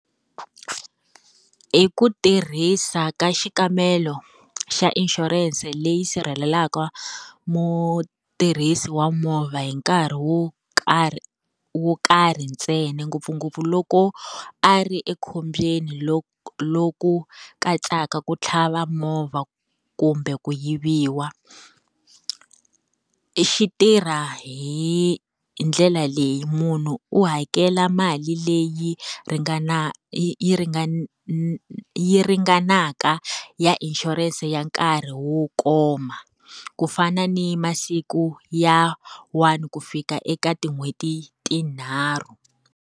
I ku tirhisa ka xikambelo xa insurance leyi sirhelelaka mutirhisi wa movha hi nkarhi wo karhi wo karhi ntsena ngopfungopfu loko, a ri ekhombyeni loku katsaka ku tlhava movha kumbe ku yiviwa. Xi tirha hi ndlela leyi munhu u hakela mali leyi yi yi yi ringana ya inshurense ya nkarhi wo koma. Ku fana ni masiku ya one ku fika eka tin'hweti tinharhu.